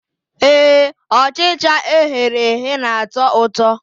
Ee, Ọchịcha eghere eghe na-atọ ụtọ